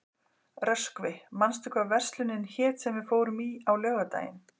Röskvi, manstu hvað verslunin hét sem við fórum í á laugardaginn?